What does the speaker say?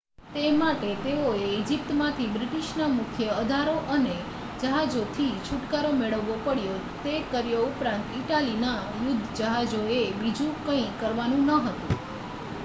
તે માટે તેઓએ ઇજિપ્તમાંથી બ્રિટિશના મુખ્ય અધારો અને જહાજોથી છુટકારો મેળવવો પડ્યો તે કર્યો ઉપરાંત ઇટાલીના યુદ્ધ જહાજોએ બીજું કંઈ કરવાનું ન હતું